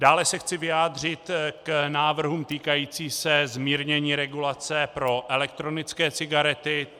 Dále se chci vyjádřit k návrhům týkajícím se zmírnění regulace pro elektronické cigarety.